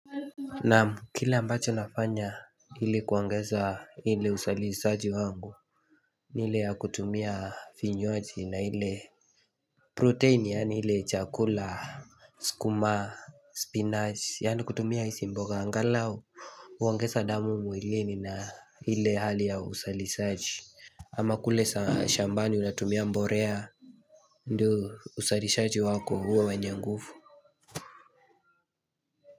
Naam kile ambacho nafanya ili kuongeza hili usalisaji wangu ni ile ya kutumia vinywaji na ile Protein yaani ilie chakula, skuma, spinach yaani kutumia isi mboga angalau uongeza damu mwilini na ile hali ya usalisaji ama kulesa shambani unatumia mborea Ndu usalisaji wako huwe wenyenguvu.